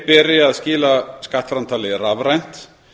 beri að skila skattframtali rafrænt